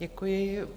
Děkuji.